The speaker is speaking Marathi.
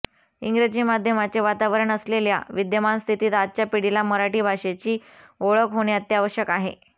इंग्रजी माध्यमाचे वातावरण असलेल्या विद्यमान स्थितीत आजच्या पिढीला मराठी भाषेची ओळख होणे अत्यावश्यक आहे